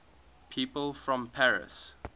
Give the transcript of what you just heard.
people from paris